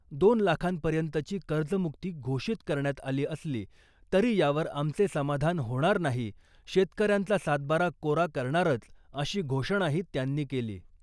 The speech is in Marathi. दोन लाखांपर्यंतची कर्जमुक्ती घोषित करण्यात आली असली तरी यावर आमचे समाधान होणार नाही, शेतकऱ्यांचा सातबारा कोरा करणारच , अशी घोषणाही त्यांनी केली .